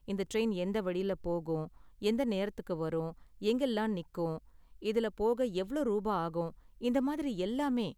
இந்த டிரைன் எந்த வழில போகும், எந்த நேரத்துக்கு வரும், எங்கெல்லாம் நிக்கும், இதுல போக எவ்ளோ ரூபா ஆகும், இந்த மாதிரி எல்லாமே.